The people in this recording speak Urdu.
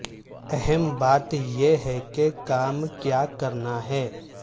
اہم بات یہ ہے کہ کام کیا کرنا ہے